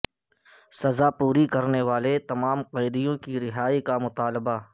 سزا پوری کرنے والے تمام قیدیوں کی رہائی کا مطالبہ